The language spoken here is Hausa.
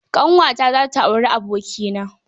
Ƙanwata za ta yi auri abokina